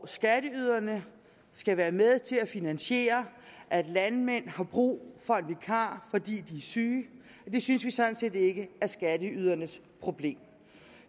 skatteyderne skal være med til at finansiere at landmændene bruger vikar når de er syge det synes vi sådan set ikke er skatteydernes problem